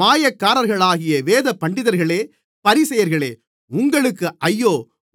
மாயக்காரர்களாகிய வேதபண்டிதர்களே பரிசேயர்களே உங்களுக்கு ஐயோ